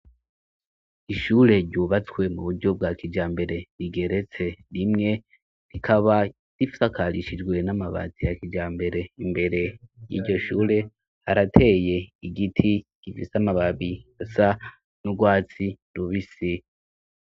Ishure ryubatswe mu buryo bwa kija mbere rigeretse rimwe rikaba rifakarishijwe n'amabazi ya kija mbere imbere yiryo shure arateye igiti gifise amababi asa n'urwatsi lubi si.